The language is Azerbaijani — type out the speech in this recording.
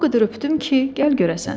O qədər öpdüm ki, gəl görəsən.